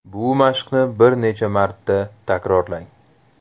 Bu mashqni bir necha marta takrorlang.